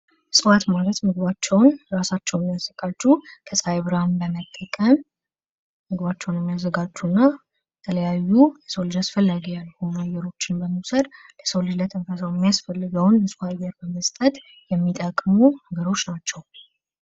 እፅዋት ማለት ምግባቸው ራሳቸው የሚያዘጋጁ ከፀሐይ ብርሃን በመጠቀም ምግባቸውን የሚያዘጋጁ እና የተለያዩ ለሰው ልጅ አስፈላጊ ያልሆኑ አየሮችን በመውሰድ ለሰው ልጅ ለትንፈሳው የሚሆነውን ንፁህ አየር በመስጠት የሚጠቅሙ ነገሮች ናቸው::